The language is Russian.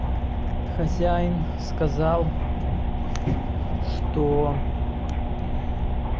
хозяин сказал что